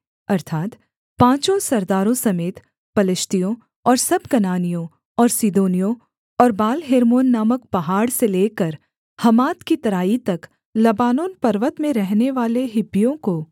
अर्थात् पाँचों सरदारों समेत पलिश्तियों और सब कनानियों और सीदोनियों और बालहेर्मोन नामक पहाड़ से लेकर हमात की तराई तक लबानोन पर्वत में रहनेवाले हिब्बियों को